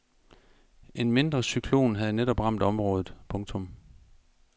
En mindre cyklon havde netop ramt området. punktum